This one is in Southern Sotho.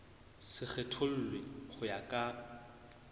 se kgethollwe ho ya ka